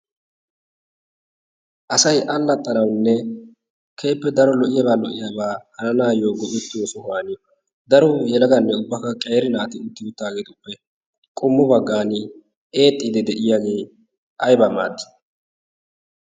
Asay allaxanawunne keehippe daro lo'iyaba hananawu, go'ettiyo sohuwan daro yelagati woykko qeeri naati diyosan eexiidi diyage aybaa maadii?